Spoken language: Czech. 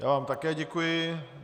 Já vám také děkuji.